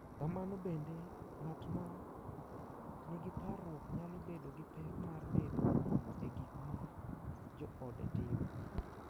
Kamano bende, ng’at ma nigi parruok nyalo bedo gi pek mar bedo e gik ma joode timo, .